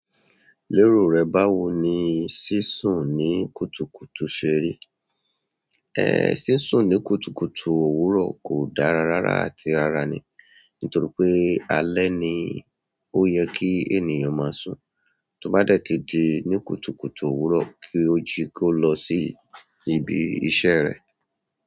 Lérò rẹ báwo ni sísùn ní kùtùkùtù ṣe rí? Ẹ̀ẹ́ sísùn ní kùtùkùtù òwúrọ̀ kò dára rárá àti rara ní, nítorí pé alẹ́ ni ó yẹ kí ènìyàn máa sùn. Tí o bá dẹ̀ ti di ní kùtùkùtù òwúrọ̀ kí o jí kí o lọ sí ibi iṣẹ́ rẹ.